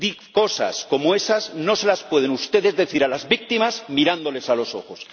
Cosas como esas no se las pueden ustedes decir a las víctimas mirándoles a los ojos.